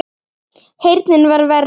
Heyrnin var verri.